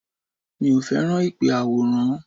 Mi ò fẹ́ràn ìpè àwòránhùn